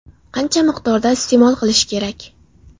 Qancha miqdorda iste’mol qilish kerak?